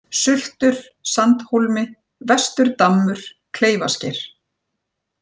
Sultur, Sandhólmi, Vesturdammur, Kleifasker